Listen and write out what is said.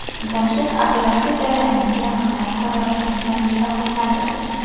Jamshid operatsiya jarayonini yaqindan ko‘rayotganidan juda xursand edi.